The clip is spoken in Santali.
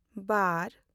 ᱵᱟᱨ